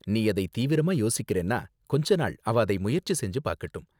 நீ அதை தீவிரமா யோசிக்கிறேன்னா கொஞ்ச நாள் அவ அதை முயற்சி செஞ்சு பாக்கட்டும்.